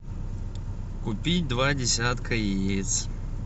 купить два десятка яиц